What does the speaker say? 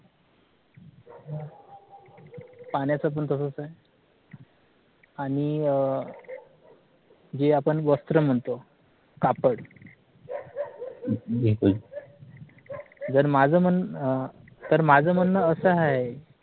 पाण्याचं पण तसंच आहे आणि अं जी आपण वस्त्र म्हणतो कापड जर माझं म्हणणं अं तर माझं म्हणणं असं हाय